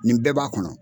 Nin bɛɛ b'a kɔnɔ